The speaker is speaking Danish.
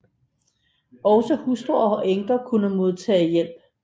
Også hustruer og enker kunne modtage hjælp